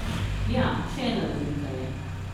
Ja, še ena razlika je.